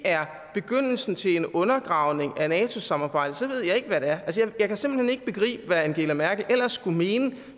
er begyndelsen til en undergravning af nato samarbejdet så ved jeg ikke hvad det er jeg kan simpelt hen ikke begribe hvad angela merkel ellers skulle mene